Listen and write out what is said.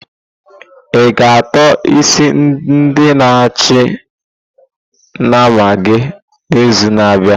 I-ga ató isi ndi na achị nama gị n'izu na-abịa?